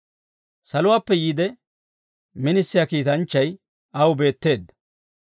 Saluwaappe yiide minisiyaa kiitanchchay aw beetteedda.